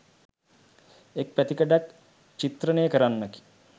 එක් පැතිකඩක් චිත්‍රණය කරන්නකි.